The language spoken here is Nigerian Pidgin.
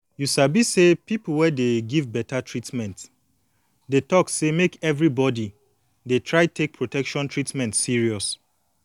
you sabi say people wey dey give beta treatment dey talk say make everybody dey try take protection treatment serious